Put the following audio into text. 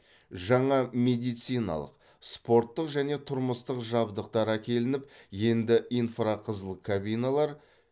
жаңа медициналық спорттық және тұрмыстық жабдықтар әкелініп енді инфрақызыл кабиналар